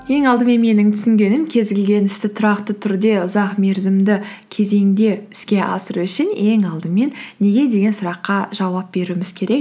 ең алдымен менің түсінгенім кез келген істі тұрақты түрде ұзақ мерзімді кезеңде іске асыру үшін ең алдымен неге деген сұраққа жауап беруіміз керек